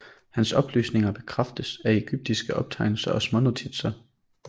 Hans oplysninger bekræftes af egyptiske optegnelser og smånotitser